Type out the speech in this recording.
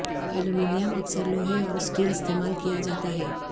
aluminium اکثر لوہے اور سٹیل استعمال کیا جاتا ہے